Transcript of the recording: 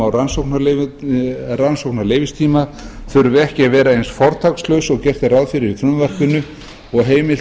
á rannsóknarleyfistíma þurfi ekki að vera eins fortakslaus og gert er ráð fyrir í frumvarpinu og að heimilt